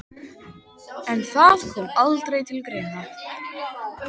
En það kom aldrei til greina.